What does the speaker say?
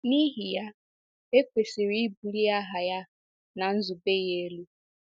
N’ihi ya, e kwesịrị ịbulie aha ya na nzube ya elu.